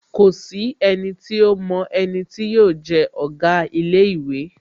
Kòsí enití ómo eni tí yóò je Òga ilé īwé